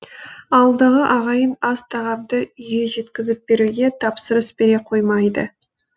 ауылдағы ағайын ас тағамды үйге жеткізіп беруге тапсырыс бере қоймайды